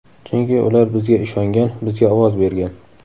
Chunki ular bizga ishongan, bizga ovoz bergan.